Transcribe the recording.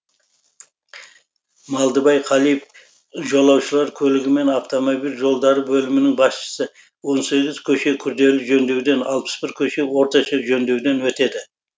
малдыбай қалиев жолаушылар көлігі мен автомобиль жолдары бөлімінің басшысы он сегіз көше күрделі жөндеуден алпыс бір көше орташа жөндеуден өтеді